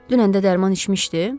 Dünən də dərman içmişdi?